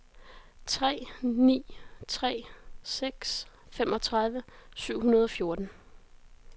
tre ni tre seks femogtredive syv hundrede og fjorten